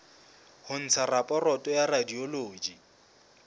ho ntsha raporoto ya radiology